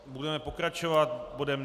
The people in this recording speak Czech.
Budeme pokračovat bodem